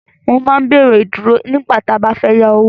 Wọ́n máa ń béèrè Ìdúró nígbà tí a bá fẹ́ yá owó